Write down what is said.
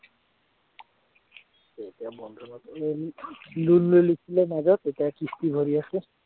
Loan লৈ লৈছিলে মাজত এতিয়া কিস্তি ভৰি আছে।